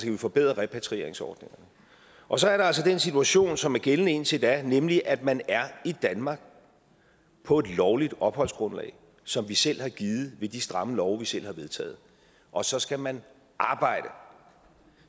kan forbedre repatrieringsordningerne og så er der altså den situation som er gældende indtil da nemlig at man er i danmark på et lovligt opholdsgrundlag som vi selv har givet ved de stramme love vi selv har vedtaget og så skal man arbejde og